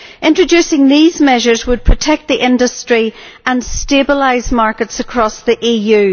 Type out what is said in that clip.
Introducing these measures would protect the industry and stabilise markets across the EU.